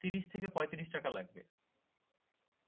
ত্রিশ থেকে পঁয়ত্রিশ টাকা লাগবে